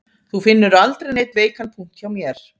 Þú finnur aldrei neinn veikan punkt hjá mér